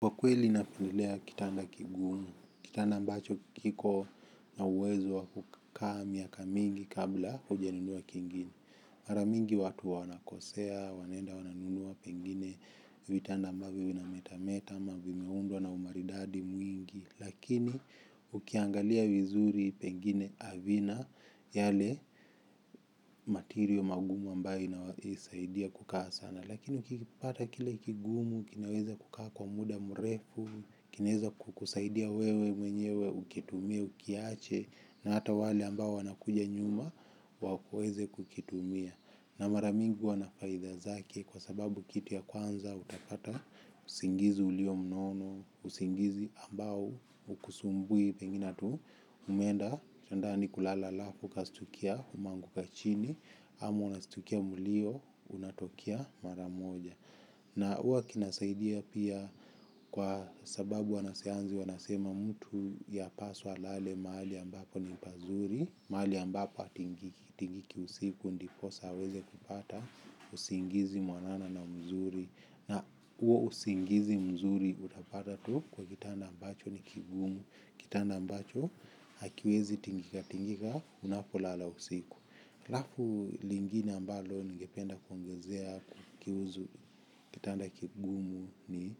Kwa kweli napendelea kitanda kigumu, kitanda ambacho kiko na uwezo wa kukaa miaka mingi kabla hujanunua kingine. Mara mingi watu huwa wanakosea wanaenda wananunua pengine vitanda ambavyo vinametameta ama vimeundwa na umaridadi mwingi. Lakini ukiangalia vizuri pengine havina yale matirio magumu ambayo inasaidia kukaa sana. Lakini ukipata kile kigumu, kinaweza kukaa kwa muda mrefu, kinaweza kukusaidia wewe mwenyewe ukitumie ukiache na hata wale ambao wanakuja nyuma waweze kukitumia. Na mara mingi huwa na faida zake kwa sababu kitu ya kwanza utapata usingizi ulio mnono, usingizi ambao haukusumbui pengine hata umeenda kitandani kulala halafu ukashtukia umeanguka chini ama unashtukia mlio unatokea mara moja. Na huwa kinasaidia pia kwa sababu wanasayansi wanasema mtu yapaswa alale mahali ambapo ni pazuri, mahali ambapo hatingiki tingiki usiku ndiposa aweze kupata usingizi mwanana na mzuri. Na huo usingizi mzuri utapata tu kwa kitanda ambacho ni kigumu, kitanda ambacho hakiwezi tingika tingika unapolala usiku. Halafu lingine ambalo ningependa kuongezea kuhusu kitanda kigumu ni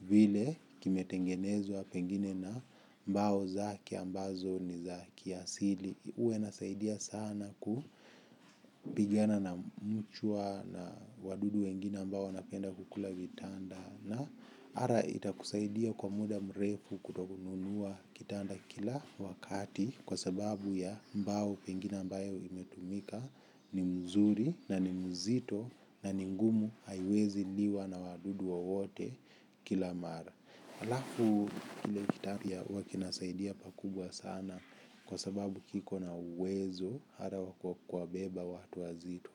vile kimetengenezwa pengine na mbao zake ambazo ni za kiasili. Huwa inasaidia sana kupigana na mchwa na wadudu wengine ambao wanapenda kukula vitanda. Na hata itakusaidia kwa muda mrefu kutokununua kitanda kila wakati kwa sababu ya mbao pengine ambayo imetumika ni mzuri na ni mzito na ni ngumu haiwezi liwa na wadudu wowote kila mara. Halafu kile kitanda pia huwa kinasaidia pakubwa sana kwa sababu kiko na uwezo hata wa kuwabeba watu wazito.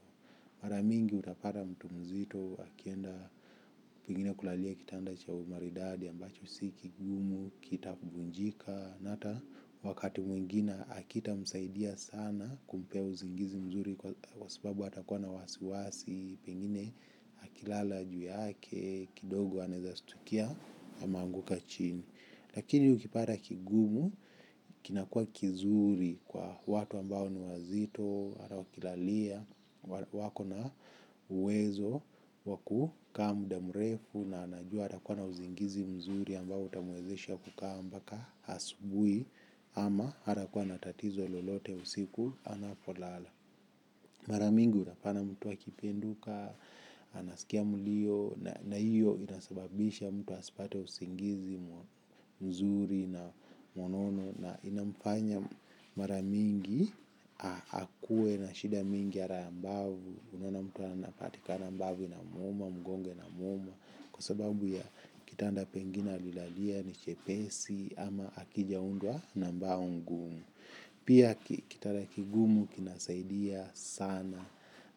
Mara mingi utapata mtu mzito akienda pengine kulalia kitanda cha umaridadi ambacho si kigumu kitavunjika. Na hata wakati mwingine hakitamsaidia sana kumpea uzingizi mzuri kwa sababu atakuwa na wasiwasi pengine akilala juu yake kidogo anaweza shtukia ameanguka chini lakini ukipata kigumu kinakuwa kizuri kwa watu ambao ni wazito hata wakilalia wako na uwezo wa kukaa muda mrefu na anajua atakuwa na uzingizi mzuri ambao utamwezesha kukaa mpaka asubuhi. Ama hatakuwa na tatizo lolote usiku anapolala. Mara mingi unapata mtu akipenduka anasikia mlio na hiyo inasababisha mtu asipate usingizi mzuri na mwanana na inamfanya mara mingi akuwe na shida mingi hata ya mbavu. Unaona mtu anapatikana mbavu inamuuma, mgongo inamuuma kwa sababu ya kitanda pengine alilalia ni chepesi ama hakijaundwa na mbao ngumu. Pia kitanda kigumu kinasaidia sana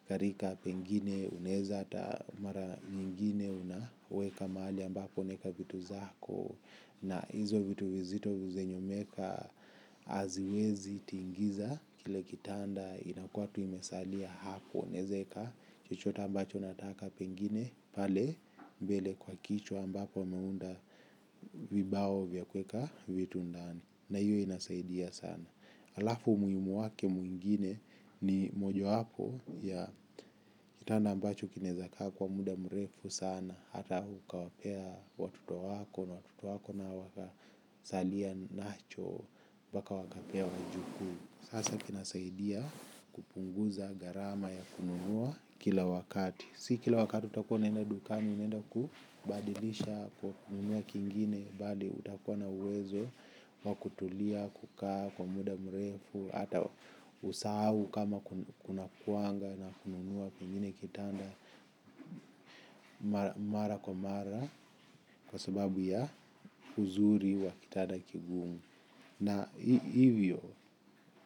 katika pengine unaweza hata mara ingine unaweka mahali ambapo unaweka vitu zako na hizo vitu vizito zenye umeweka haziwezi tingiza kile kitanda inakuwa tu imesalia hapo unaweza weka chochote ambacho unataka pengine pale mbele kwa kichwa ambapo umeunda vibao vya kuweka vitu ndani na hiyo inasaidia sana. Halafu umuhimu wake mwingine ni mojawapo ya kitanda ambacho kinaweza kaa kwa muda mrefu sana hata ukawapea watoto wako na watoto wako nao wakasalia nacho mpaka wakapea wajukuu sasa kinasaidia kupunguza gharama ya kununua kila wakati si kila wakati utakuwa unaenda dukani unaenda kubadilisha kununua kingine bali utakuwa na uwezo wa kutulia, kukaa kwa muda mrefu, hata usahau kama kunakuanga na kununua pengine kitanda mara kwa mara kwa sababu ya uzuri wa kitanda kigumu. Na hivyo,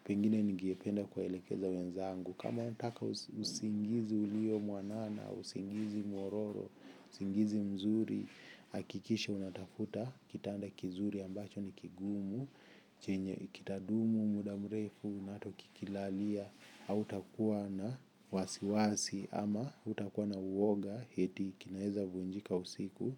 pengine ningependa kuwaelekeza wenzangu kama unataka usingizi ulio mwanana, usingizi mwororo, usingizi mzuri hakikisha unatafuta kitanda kizuri ambacho ni kigumu chenye kitadumu muda mrefu na hata ukikilalia hautakuwa na wasiwasi ama hautakuwa na woga eti kinaweza vunjika usiku.